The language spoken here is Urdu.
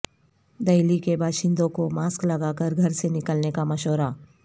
دہلی کے باشندوں کو ماسک لگاکر گھر سے نکلنے کا مشورہ